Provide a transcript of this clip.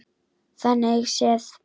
Þannig séð.